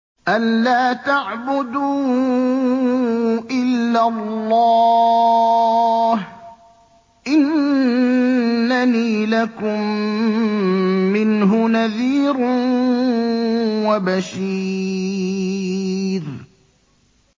أَلَّا تَعْبُدُوا إِلَّا اللَّهَ ۚ إِنَّنِي لَكُم مِّنْهُ نَذِيرٌ وَبَشِيرٌ